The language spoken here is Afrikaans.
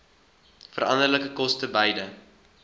veranderlike koste beide